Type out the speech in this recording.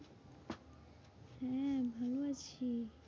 হ্যাঁ, ভালো আছি।